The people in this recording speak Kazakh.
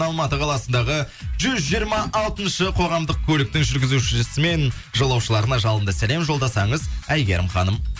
алматы қаласындағы жүз жиырма алтыншы қоғамдық көліктің жүргізушісі мен жолаушыларына жалынды сәлем жолдасаңыз әйгерім ханым